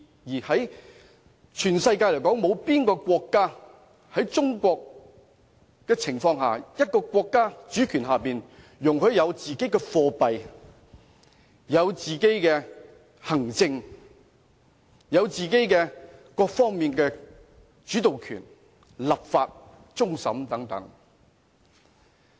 環顧全世界，有哪個國家像中國一樣，一個主權國家容許一個地區有自己的貨幣、自己的行政制度，以及各方面的主導權，包括立法和終審等。